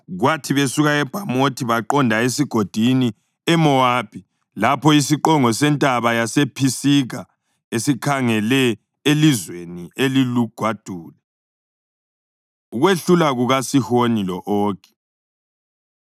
kwathi besuka eBhamothi baqonda esigodini eMowabi, lapho isiqongo sentaba yasePhisiga esikhangele elizweni elilugwadule. Ukwehlulwa KukaSihoni Lo-Ogi